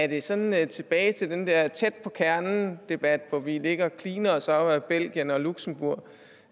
det sådan tilbage til den der tæt på kernen debat hvor vi ligger og kliner også op ad belgien og luxembourg